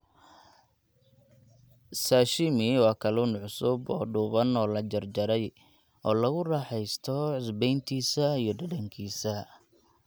Sashimi waa kalluun cusub oo dhuuban oo la jarjaray, oo lagu raaxaysto cusbayntiisa iyo dhadhankiisa.